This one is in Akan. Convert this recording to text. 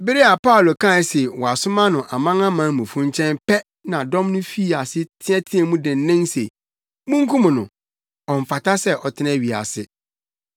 Bere a Paulo kae se wɔasoma no amanamanmufo nkyɛn pɛ na dɔm no fii ase teɛteɛɛ mu dennen se, “Munkum no! Ɔmfata sɛ ɔtena wiase!”